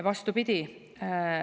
Vastupidi.